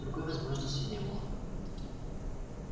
другой возможности не было